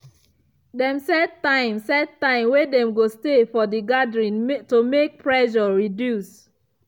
dem set time set time wey dem go stay for the gathering to make pressure reduce.